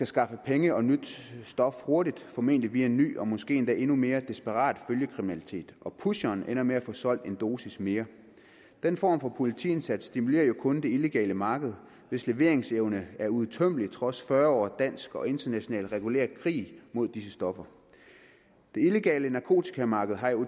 skaffe penge og nyt stof hurtigt formentlig via en ny og måske endnu mere desperat følgekriminalitet og pusheren ender med at få solgt en dosis mere den form for politiindsats stimulerer jo kun det illegale marked hvis leveringsevne er uudtømmelig trods fyrre års dansk og international regulær krig mod disse stoffer det illegale narkotikamarked har jo